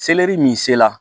Seleri min se la